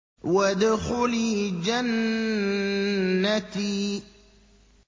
وَادْخُلِي جَنَّتِي